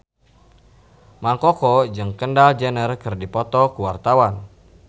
Mang Koko jeung Kendall Jenner keur dipoto ku wartawan